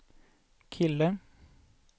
kille